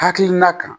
Hakilina kan